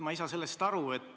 Ma ei saa sellest aru.